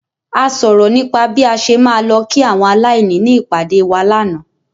A sọ̀rọ̀ nípa bí a ṣe máa lọ kí àwọn aláìní ní ìpàdè wa lánàá.